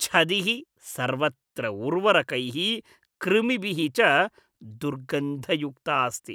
छदिः सर्वत्र उर्वरकैः, कृमिभिः च दुर्गन्धयुक्ता अस्ति।